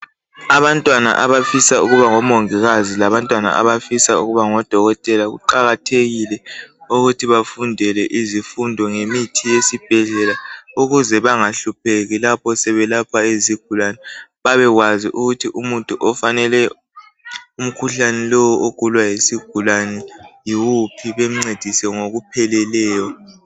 Abantwana abafisa ukuba ngomongikazi labantwana abafisa ukuba ngodokotela kuqakathekile ukuthi bafundele izifundo ngemithi yesibhedlela ukuze bangahlupheki lapho sebelapha izigulane babekwazi ukuthi umuthi ofanele umkhuhlane lowo ogulwa yisigulane yiwuphi bencedise ngokupheleleyo.